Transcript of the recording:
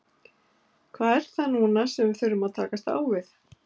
Hvað er það núna sem við þurfum að takast á við?